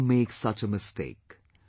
Never make such a mistake